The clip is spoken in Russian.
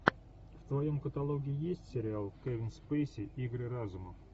в твоем каталоге есть сериал кевин спейси игры разума